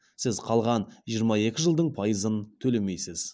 сіз қалған жиырма екі жылдың пайызын төлемейсіз